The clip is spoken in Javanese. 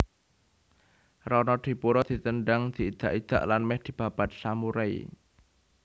Ronodipuro ditendhang diidak idak lan mèh dibabat samurai